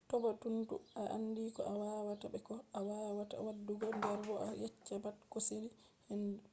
tabbutunu a andi ko a wawata be ko a wawata waddugo der bo a yecca pat ko sali ko handi